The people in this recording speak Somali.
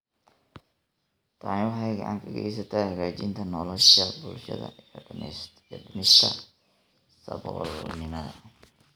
Tani waxay gacan ka geysataa hagaajinta nolosha bulshada iyo dhimista saboolnimada.